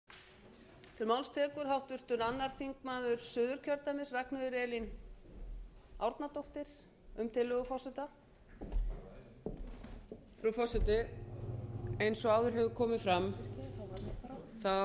þrátt fyrir ákvæði fjórðu málsgreinar tíundu greinar þingskapa um lengd þingfundar er það tillaga forseta að þingfundir geti staðið lengur í dag en hvað þingsköp kveða á um